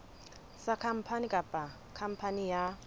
sa khampani kapa khampani ya